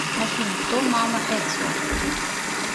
афина кто мама эцио